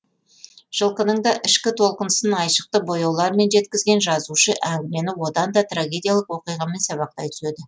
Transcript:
жылқының да ішкі толқынысын айшықты бояулармен жеткізген жазушы әңгімені одан да трагедиялық оқиғамен сабақтай түседі